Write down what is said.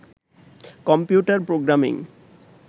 computer programming